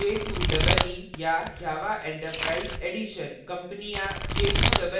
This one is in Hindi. j2ee या java enterprise edition: companies j2ee का उपयोग करती हैं